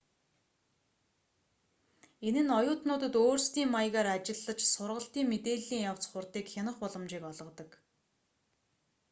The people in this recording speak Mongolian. энэ нь оюутнуудад өөрсдийн маягаар ажиллаж сургалтын мэдээллийн явц хурдыг хянах боломжийг олгодог